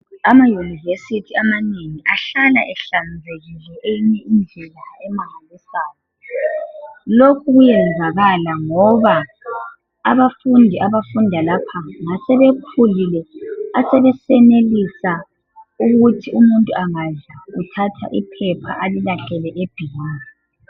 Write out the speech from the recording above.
Amayunivesiti amanengi ahlala ehlanzekile eyinye indlela emangilisayo. Lokhu kuyenzakala ngoba abafundi abafunda lapha ngasebekhulile asebesenelisa ukuthi umuntu angadla uthatha iphepha alilahlele ebhimu.